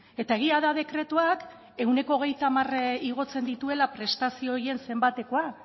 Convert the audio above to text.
eta egia da dekretuak ehuneko hogeita hamar igotzen dituela prestazio horien zenbatekoa